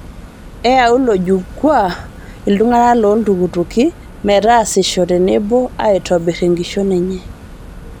Eyaua ilo jukwaa ltung'ana loo ltukutuki meetasisho tenebo aitobirr enkishon enye